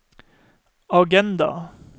agenda